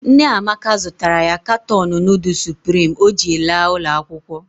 Nne Amaka zụtara ya katọọnụ nudul Suprimi o ji laa ụlọakwụkwọ